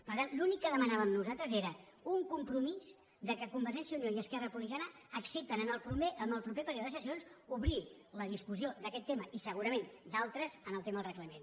per tant l’únic que demanàvem nosaltres era un compromís que convergència i unió i esquerra republicana acceptessin en el proper període de sessions obrir la discussió d’aquest tema i segurament d’altres en el tema del reglament